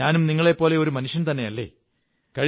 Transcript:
ഞാനും നിങ്ങളെപ്പോലെ ഒരു മനുഷ്യന്തസന്നെയല്ലേ